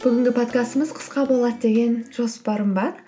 бүгінгі подкастымыз қысқа болады деген жоспарым бар